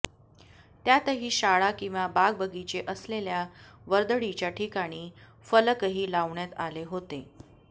त्यातही शाळा किंवा बागबगीचे असलेल्या वर्दळीच्या ठिकाणी फलकही लावण्यात आले होते